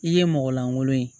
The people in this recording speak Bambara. I ye mɔgɔ lankolon ye